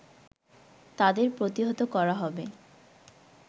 তাদের প্রতিহত করা হবে